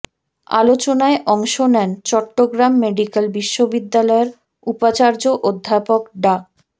আলোচনায় অংশ নেন চট্টগ্রাম মেডিক্যাল বিশ্ববিদ্যালয়ের উপাচার্য অধ্যাপক ডা